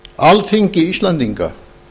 alþingi íslendinga